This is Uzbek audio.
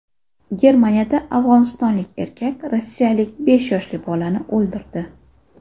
Germaniyada afg‘onistonlik erkak rossiyalik besh yoshli bolani o‘ldirdi.